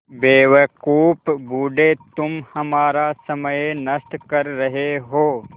बेवकूफ़ बूढ़े तुम हमारा समय नष्ट कर रहे हो